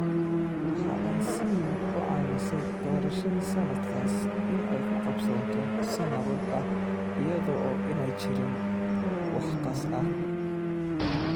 Waxa ay si weyn u caawisay doorashadii sanadkaas in ay ku qabsoonto si nabad ah iyada oo aanay jirin wax qas ah.